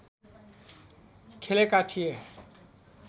खेलेका थिए